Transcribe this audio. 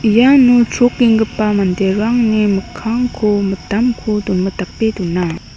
iano chrokenggipa manderangni mikkangko mitamko donmitape dona.